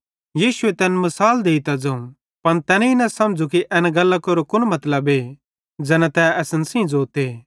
यीशुए तैन सेइं मिसाल देइतां ज़ोवं पन तैनेईं न समझ़ू कि एसेरी गल्लां केरो कुन मतलबे ज़ैना तै असन सेइं ज़ोते